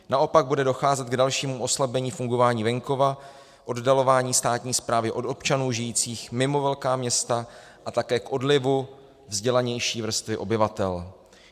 Naopak bude docházet k dalšímu oslabení fungování venkova, oddalování státní správy od občanů žijících mimo velká města a také k odlivu vzdělanější vrstvy obyvatel.